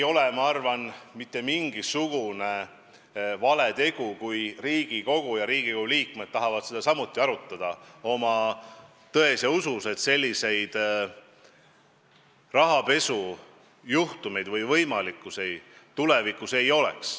Ma arvan, et see ei ole mingisugune vale tegu, kui Riigikogu liikmed tahavad seda teemat samuti arutada ja uskuda, et sellised rahapesujuhtumid tulevikus võimalikud ei oleks.